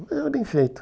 Mas era bem feito.